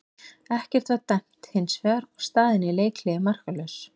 Ekkert var dæmt hins vegar og staðan í leikhléi markalaus.